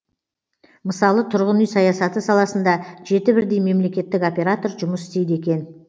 мысалы тұрғын үй саясаты саласында жеті бірдей мемлекеттік оператор жұмыс істейді екен